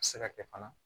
A bɛ se ka kɛ fana